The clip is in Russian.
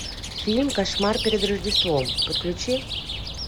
фильм кошмар перед рождеством подключи